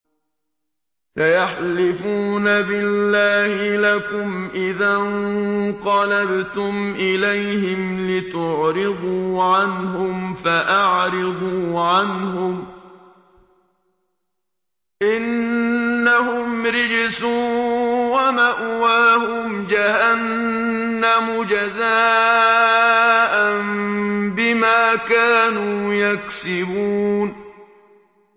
سَيَحْلِفُونَ بِاللَّهِ لَكُمْ إِذَا انقَلَبْتُمْ إِلَيْهِمْ لِتُعْرِضُوا عَنْهُمْ ۖ فَأَعْرِضُوا عَنْهُمْ ۖ إِنَّهُمْ رِجْسٌ ۖ وَمَأْوَاهُمْ جَهَنَّمُ جَزَاءً بِمَا كَانُوا يَكْسِبُونَ